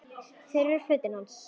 Þetta eru fötin hans!